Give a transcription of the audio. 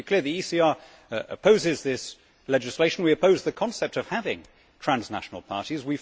So, to be clear, the ECR opposes this legislation, we oppose the concept of having transnational parties.